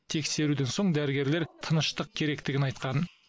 тексеруден соң дәрігерлер тыныштық керектігін айтқан